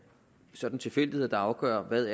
sådan tilfældigheder der afgør hvad